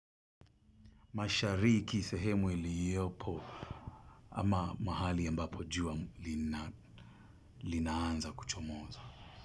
Mashariki sehemu iliopo ama mahali ambapo jua linaanza kuchomoza.